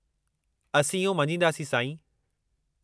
असीं इहो मञींदासीं, साईं।